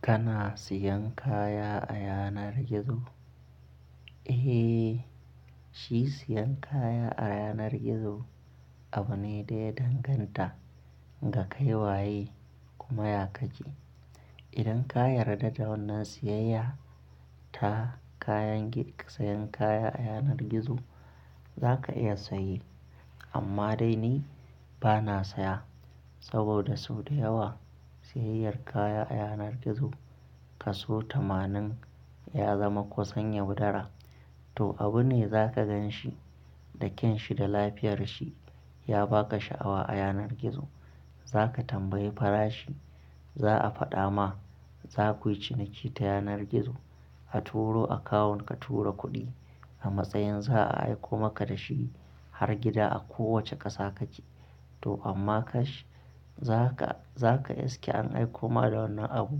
Kana siyan kaya a yanar gizo? Eh, shi siyan kaya a yanar gizo abu ne da ya danganta ga kai waye, kuma ya kake. Idan ka yarda da wannan siyayya ta kayan gi-- sayan kaya a yanar gizo, zaka iya saye. Amma dai ni bana saya saboda sau da yawa, siyayyar kaya a yanar gizo kaso tamanin ya zama kusan yaudara. To, abu ne zaka gan shi da kyan shi da lafiyar shi ya ba ka sha'awa a yanar gizo. Zaka tambayi farashi, za a faɗa ma, zaku yi ciniki ta yanar gizo. A turo akawun ka tura kuɗi a matsayin za a aiko maka da shi har gida a kowacce ƙasa kake. To, amma kash-- zaka, zaka iske an aiko ma da wannan abu.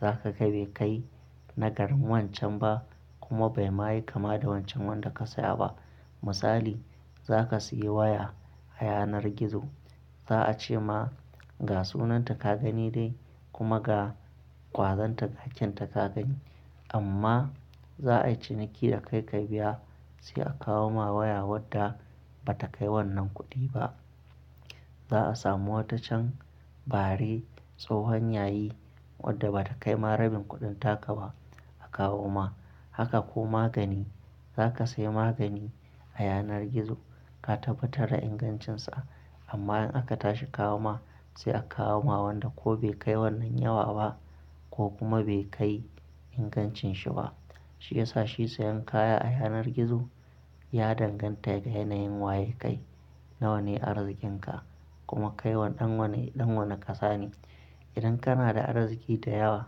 Zaka ga bai kai na garin wancan ba, kuma bai ma yi kama da wancan wanda ka saya ba. Misali, za ka sayi waya a yanar gizo. Za a ce ma ga sunanta ka gani dai kuma ga ƙwazanta ga kyanta ka gani. Amma za a yi ciniki da kai ka biya, sai a kawo ma waya wadda ba ta kai wannan kuɗi ba. Za a samu wata can bare, tsohon yayi, wadda ba ta kai ma rabin kuɗin taka ba a kawo ma. Haka ko magani. Zaka sayi magani a yanar gizo, ka tabbatar da ingancinsa amma in aka tashi kawo ma, sai a kawo ma wanda ko bai kai wannan yawa ba, ko kuma bai kai ingancin shi ba. Shi yasa shi siyan kaya a yanar gizo, ya danganta da yanayin waye kai, nawa ne arziƙinka kuma kai wa, ɗan wane, ɗan wane ƙasa ne. Idan kana da arziki da yawa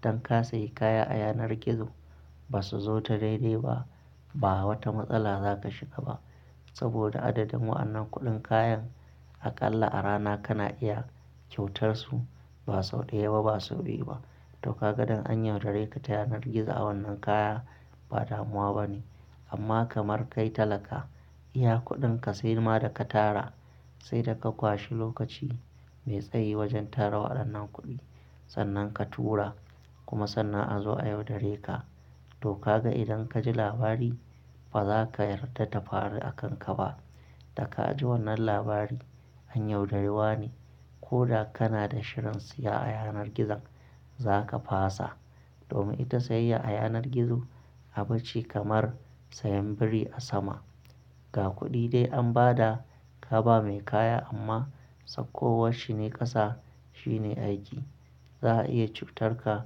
dan ka sayi kaya a yanar gizo, ba su zo ta daidai ba ba wata matsala zaka shiga ba. Saboda adadin wa'annan kuɗin kayan aƙalla a rana kana iya kyautar su ba sau ɗaya ba, ba sau biyu ba. To, kaga dan an yaudare ka ta yanar gizo a wannan kaya, ba damuwa bane. Amma kamar kai talaka, iya kuɗin ka sai ma da ka tara, sai da ka kwashi lokaci mai tsayi wajan tara waɗannan kuɗi, sannan ka tura kuma sannan a zo a yaudare ka. To, kaga idan ka ji labari, ba zaka yarda ta faru a kanka ba. Da ka ji wannan labari, an yaudari wane. Koda kana da shirin siya a yanar gizon, zaka fasa. Domin ita siyayya a yanar gizo abu ce kamar sayan biri a sama. Ga kuɗi dai an ba da ka ba mai kaya amma sakkowar shi ne ƙasa, shine aiki. Za a iya cutar ka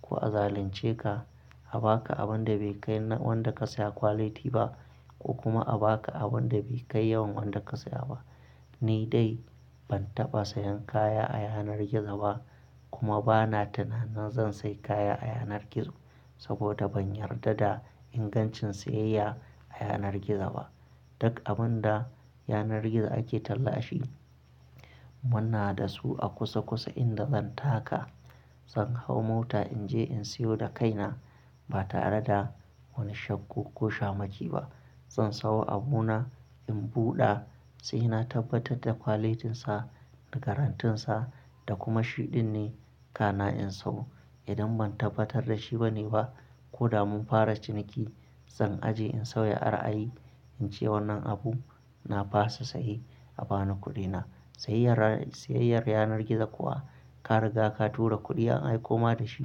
ko a zalunce ka, a ba ka abun da bai kai na wanda ka saya quality ba. Kuma a ba ka abun da bai kai yawan wanda ka saya ba. Ni dai ban taɓa sayan kaya a yanar gizo ba kuma bana tunanin zan sayi kaya a yanar gizo, saboda ban yarda da ingancin siyayya a yanar gizo ba. Duk abun da yanar gizo ake talla shi, muna da su a kusa kusa inda zan taka. Zan hau mota in je in siyo da kaina ba tare da wani shakku ko shamaki ba. Zan sayo abuna, in buɗa, sai na tabbatar da qualityn sa, da garantinsa da kuma shi ɗin ne, kana in sayo. Idan ban tabbatar da shi bane ba, ko da mun fara ciniki, zan aje in sauya ra'ayi in ce wannan abu na fasa saye a bani kuɗina. Siyayyar, siyayyar yanar gizo kuwa, ka riga ka tura kuɗi an aiko ma da shi,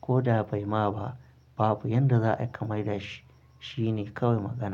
ko da bai ma ba, babu yanda za ai ka maida shi. Shine kawai magana.